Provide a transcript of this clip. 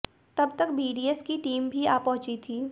तब तक बीडीएस की टीम भी आ पहुंची थी